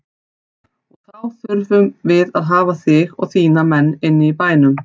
Og þá þurfum við að hafa þig og þína menn inni í bænum.